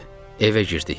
Evə girdik.